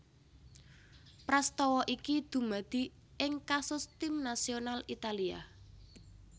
Prastawa iki dumadi ing kasus Tim nasional Italia